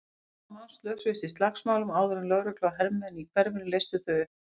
Fimmtán manns slösuðust í slagsmálunum áður en lögregla og hermenn í hverfinu leystu þau upp.